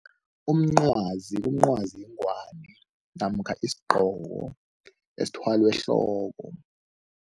Umncwazi umncwazi yingwani namkha isigqoko esithwalwa ehloko.